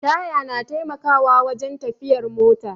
Taya na taimakawa wajen tafiyar mota